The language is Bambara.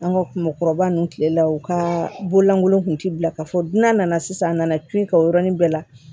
An ka mɔgɔkɔrɔba ninnu tile la u ka bololankolon kun tɛ bila ka fɔ dunan nana sisan nana to yen ka o yɔrɔnin bɛɛ la